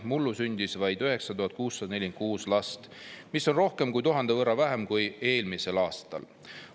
Mullu sündis vaid 9646 last, mis on rohkem kui 1000 võrra vähem kui eelmisel aastal.